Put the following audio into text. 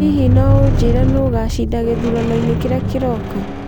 Hihi no ũnjĩĩre nũũ ũgaacinda gĩthuranoinĩ kĩrĩa kĩroka